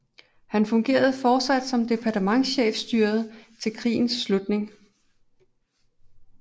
Han fungerede fortsat i departementschefstyret til krigens slutning